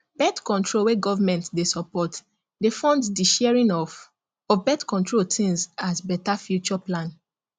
birthcontrol wey government dey support dey fund the sharing of of birthcontrol things as better future plan